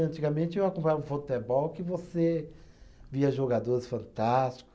Antigamente, eu acompanhava futebol que você via jogadores fantástico.